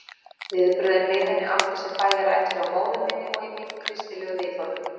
Viðbrögðin við henni áttu sér bæði rætur hjá móður minni og í mínum kristilegu viðhorfum.